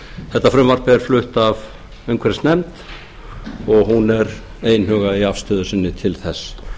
þetta frumvarp er flutt af umhverfisnefnd og hún er einhuga í afstöðu sinni til þess